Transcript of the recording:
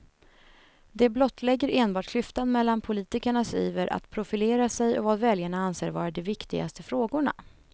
Det blottlägger enbart klyftan mellan politikernas iver att profilera sig och vad väljarna anser vara de viktigaste frågorna.